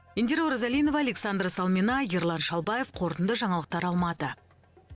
индира оразалинова александра салмина ерлан шалбаев қорытынды жаңалықтар алматы